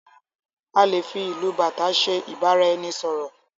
A lè fí ìlù bàtá ṣe ibaraẹnisọrọ.